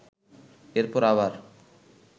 এরপর আবার